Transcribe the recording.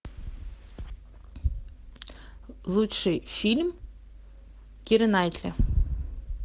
лучший фильм киры найтли